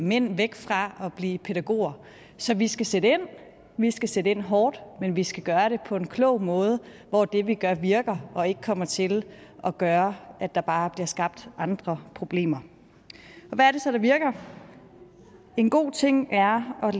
mænd væk fra at blive pædagoger så vi skal sætte ind vi skal sætte ind hårdt men vi skal gøre det på en klog måde hvor det vi gør virker og ikke kommer til at gøre at der bare bliver skabt andre problemer hvad er det så der virker en god ting er at